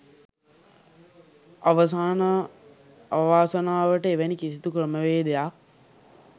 අවාසනාවට එවැනි කිසිදු ක්‍රමවේදයක්